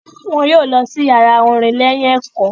wọn yóò lọ sí yàrá orin lẹ́yìn ẹ̀kọ́.